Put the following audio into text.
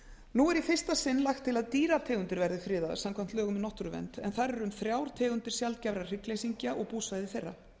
er í fyrsta sinn lagt til að dýrategundir verði friðaðar samkvæmt lögum um náttúruvernd en þar er um þrjár tegundir sjaldgæfra hryggleysingja og búsvæði þeirra